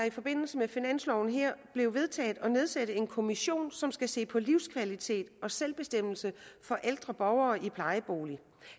i forbindelse med finansloven blev vedtaget at nedsætte en kommission som skal se på livskvalitet og selvbestemmelse for ældre borgere i plejebolig